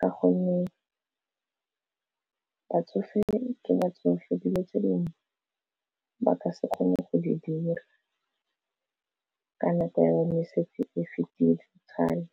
ka gonne batsofe ke batsofe dilo tse dingwe ba ka se kgone go di dira ka nako ya bone e setse e fetile kgale.